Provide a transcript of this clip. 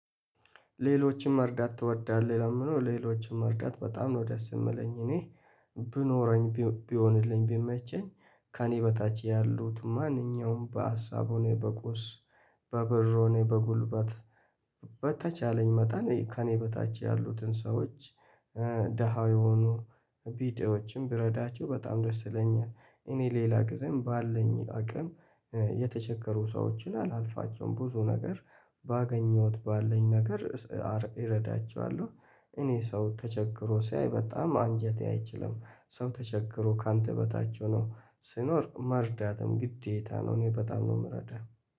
ሌሎችን መርዳት ትወዳለህ ለሚለው ሌሎችን መርዳት በጣም ነው ደስ የምለኝ እኔ ቢኖረኝ ቢሆንልኝ ቢመቸኝ ከእኔ በታች ያሉት ማንኛውም በሀሳብ ሆነ በቁስ በብር ሆነ በጉልበት በተቻለኝ መጠን ከእኔ በታች ያሉትን ሰዎች ደሃ የሆኑ ቢጤዎችንን ብረዳቸው በጣም ደስ ይለኛል እኔ ሌላ ጊዜም ባለኝ አቅም የተቸገሩ ሰዎችን አላልፋቸውም ብዙ ነገር ባገኘሁት ባለን ነገር እረዳቸዋለሁ እኔ ሰው ተቸግሮ ሳይ በጣም አንጀቴ አይችልም። ሰው ተቸግሮ ካንተ በታች ሆኖ ሲኖር መርዳትም ግዴታ ነው እኔ በጣም ነው የምረዳው